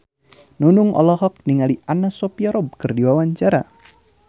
Nunung olohok ningali Anna Sophia Robb keur diwawancara